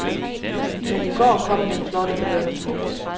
Men i går kom den flotte belønning.